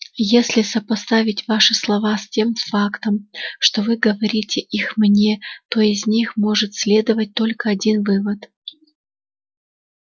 если сопоставить ваши слова с тем фактом что вы говорите их мне то из них может следовать только один вывод